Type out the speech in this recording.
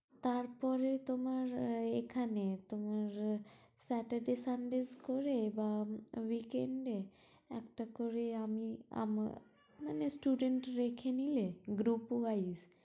তারপরে তোমার আহ এখানে তোমার আহ saturday sundays করে বা weekend এ, একটা করে আমি আমার মানে student রেখে নিলে group wise